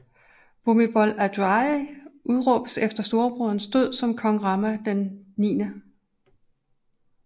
Bhumibol Adulyadej udråbes efter storebroderens død som kong Rama IX